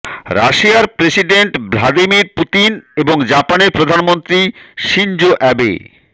রাশিয়ার president Vladimir Putin এবং জাপানের প্রধানমন্ত্রী শিনজো অ্যাবে